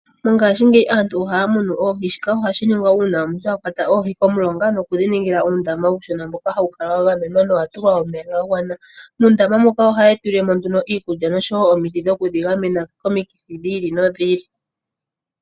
Mongashingeyi aantu ohaya munu oohi, shika ohashi ningwa uuna omuntu a kwata oohi komulonga nokudhi ningila uundama uushona mboka hawu kala wa gamenwa nowa tulwa uomeya ga gwana. Moondama moka ohaye dhi tulile mo nduno iikulya noshowo omiti dhokudhi gamena komikithi dhi ili nodhi ili.